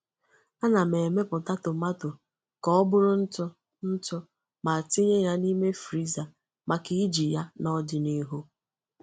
Ana m emepụta tomáto ka ọ bụrụ ntụ ntụ ma tinye ya n’ime friza maka iji ya n’ọdịnihu.